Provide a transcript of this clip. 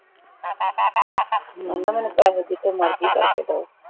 ਹਮ ਕਹਿੰਦਾ ਮੈਨੂੰ ਪੈਸੇ ਜਿਥੋਂ ਮਰਜ਼ੀ ਕਰਕੇ ਦੋ